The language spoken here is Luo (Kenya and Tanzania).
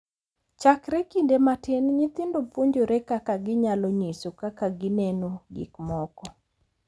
Chakre kinde matin, nyithindo puonjore kaka ginyalo nyiso kaka gineno gik moko,